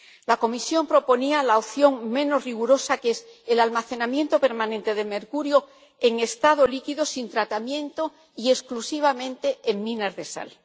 La Comisión proponía la opción menos rigurosa, que es el almacenamiento permanente de mercurio en estado líquido, sin tratamiento y exclusivamente en minas de sal.